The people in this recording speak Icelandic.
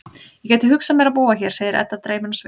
Ég gæti hugsað mér að búa hér, segir Edda dreymin á svip.